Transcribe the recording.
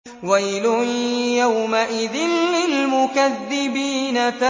وَيْلٌ يَوْمَئِذٍ لِّلْمُكَذِّبِينَ